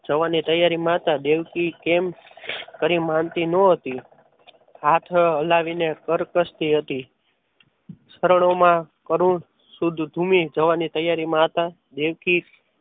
જવાની તૈયારીમાં હતા દેવકી કેમ કરી માનતી ન હતી. હાથ હલાવીને કગરતી હતી. શરણોમાં કરુણ શુદ્ધ ભૂમિ જવાની તૈયારીમાં હતા. દેવકી